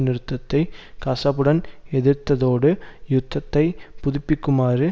நிறுத்தத்தை கசப்புடன் எதிர்த்ததோடு யுத்தத்தை புதுப்பிக்குமாறு